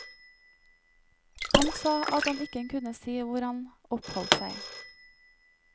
Han sa at han ikke kunne si hvor han oppholdt seg.